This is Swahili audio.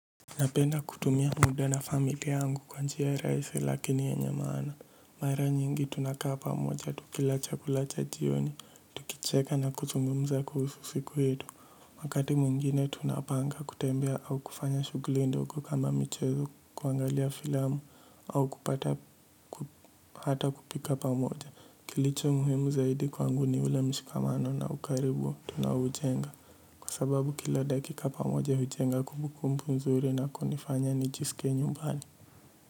Napenda kutumia muda na familia yangu kwa njia rahisi lakini yenye maana. Mara nyingi tunakaa pamoja, tukila chakula cha jioni, tukicheka na kuzungumza kuhusu siku yetu. Wakati mwingine tunapanga kutembea au kufanya shughuli ndogo kama michezo kuangalia filamu au kupata hata kupika pamoja. Kilicho muhimu zaidi kwangu ni ule mshikamano na ukaribu tunaujenga. Kwa sababu kila dakika pamoja hujenga kumbukumbu nzuri na kunifanya nijisikie nyumbani.